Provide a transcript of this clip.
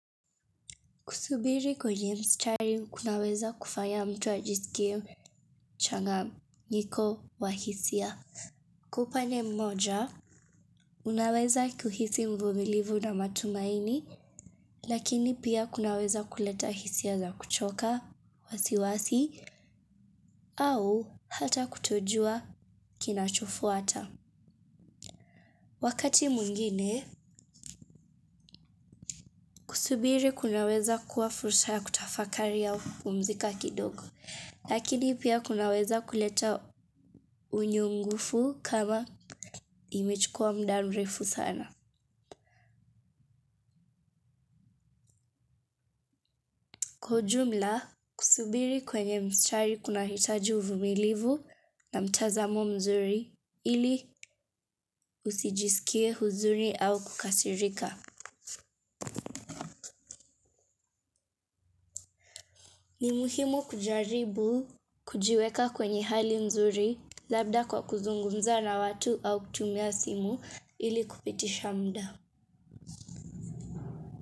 Kusubiri kwenye mstari kunaweza kufanya mtu ajisikie changanyiko wa hisia. Kwa upanye mmoja, unaweza kuhisi mvumilivu na matumaini, lakini pia kunaweza kuleta hisia za kuchoka, wasiwasi, au hata kutojua kinachofuata. Wakati mwingine, kusubiri kunaweza kuwa fursa ya kutafakari au kupumzika kidogo, lakini pia kunaweza kuleta unyungufu kama imechukua mda mrefu sana. Kwa ujumla, kusubiri kwenye mstari kunahitaji uvumilivu na mtazamo mzuri ili usijisikie huzuni au kukasirika. Ni muhimu kujaribu kujiweka kwenye hali nzuri, labda kwa kuzungumza na watu au kutumia simu ili kupitisha mda.